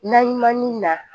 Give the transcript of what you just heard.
Naɲumanni na